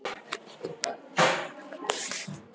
Elsku Bóel amma.